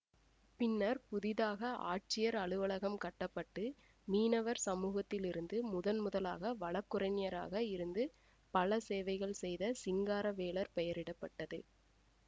பின்னர் புதிதாக ஆட்சியர் அலுவலகம் கட்ட பட்டு மீனவர் சமூகத்திலிருந்து முதன் முதலாக வழக்குரைஞராக இருந்து பல சேவைகள் செய்த சிங்காரவேலர் பெயரிட பட்டது